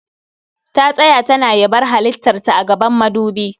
Ta tsaya tana yabar halittar ta a gaban madubi